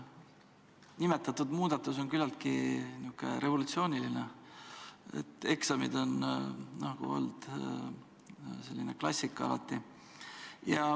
Nimetatud muudatus on küllaltki revolutsiooniline, eksamid on alati nagu selline klassika olnud.